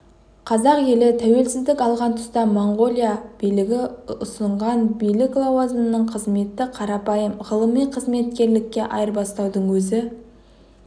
қазақ елі тәуелсіздік алған тұста монғолия билігі ұсынған биік лауазымды қызметті қарапайым ғылыми қызметкерлікке айырбастаудың өзі